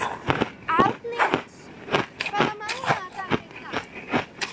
Arnes, hvaða mánaðardagur er í dag?